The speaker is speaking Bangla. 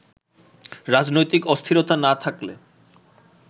রাজনৈতিক অস্থিরতা না থাকলে